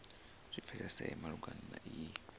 zwi pfesese malugana na iyi